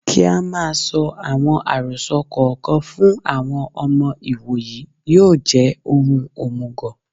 Kí á máa sọ àwọn àròsọ kò kan fún àwọn ọmọ ìwòyí yóò jẹ́ ohun òmùgọ̀